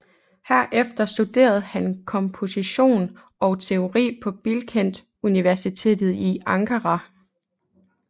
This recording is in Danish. Herefter studerede han komposition og teori på Bilkent Universitet i Ankara